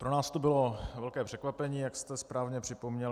Pro nás to bylo velké překvapení, jak jste správně připomněl.